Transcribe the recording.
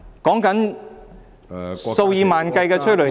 說的是數以萬計的催淚彈......